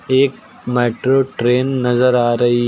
एक metro train नजर आ रही--